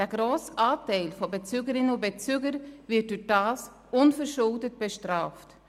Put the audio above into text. Der grosse Anteil von Bezügerinnen und Bezüger wird dadurch unverschuldet bestraft.